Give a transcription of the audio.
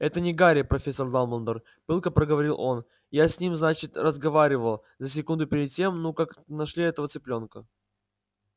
это не гарри профессор дамблдор пылко проговорил он я с ним значит разговаривал за секунду перед тем ну как нашли этого цыплёнка